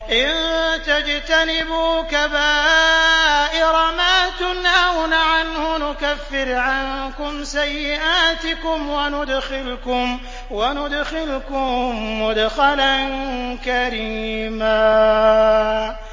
إِن تَجْتَنِبُوا كَبَائِرَ مَا تُنْهَوْنَ عَنْهُ نُكَفِّرْ عَنكُمْ سَيِّئَاتِكُمْ وَنُدْخِلْكُم مُّدْخَلًا كَرِيمًا